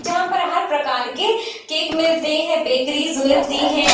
जहाँ पर हर प्रकार के केक मिलते हैं बकरीज मिलती हैं।